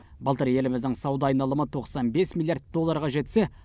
былтыр еліміздің сауда айналымы тоқсан бес миллиард долларға жетсе